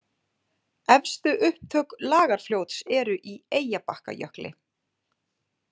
Efstu upptök Lagarfljóts eru í Eyjabakkajökli.